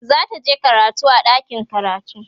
zataje karatu a ɗakin karatu